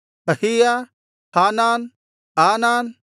ಅಹೀಯ ಹಾನಾನ್ ಆನಾನ್